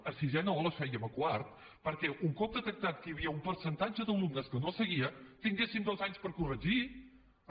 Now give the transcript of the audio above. a sisè no les fèiem a quart perquè un cop detectat que hi havia un percentatge d’alumnes que no seguia tinguéssim dos anys per corregir ho